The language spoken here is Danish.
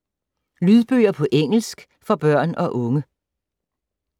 Lydbøger på engelsk for børn og unge